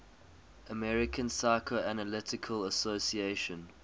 american psychoanalytic association